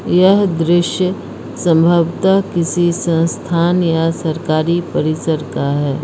यह दृश्य संभवत किसी संस्थान या सरकारी परिसर का है।